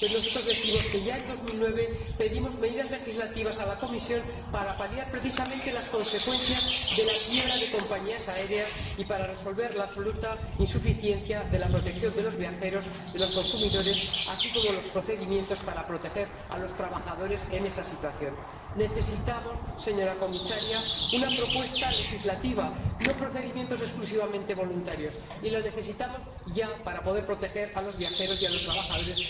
Pero nosotros decimos que, ya en 2009, pedimos medidas legislativas a la Comisión para paliar precisamente las consecuencias de la quiebra de compañías aéreas y para resolver la absoluta insuficiencia de la protección de los viajeros y los consumidores, así como de los procedimientos para proteger a los trabajadores en esa situación. Necesitamos, señora Comisaria, una propuesta legislativa, no procedimientos exclusivamente voluntarios, y la necesitamos ya, para poder proteger a los viajeros y a los trabajadores.